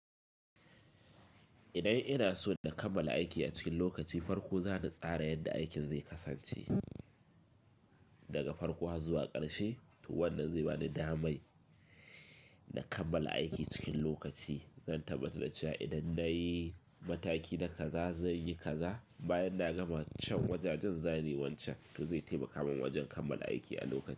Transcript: Idan ina so na kammala aiki a cikin lokaci, farko za na tsara yadda aikin zai kasance, daga farko har zuwa ƙarshe. Wannan zai ba ni damai na kammala aiki cikin lokaci. Zan tabbatar da cewa idan na yi mataki na kaza zanyi kaza, bayan na gama can wajajen, za ni wancan. Zai taimaka min wajen kammala aiki a lokaci.